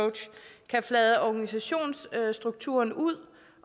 kan flade organisationsstrukturen ud